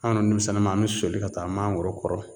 An' dun demisɛnnama an bi soli ka taa mangoro kɔrɔ